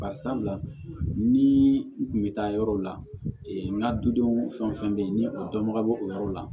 Bari sabula ni n kun be taa yɔrɔ la n ka dudenw fɛn fɛn be yen ni o dɔnbaga bo o yɔrɔ la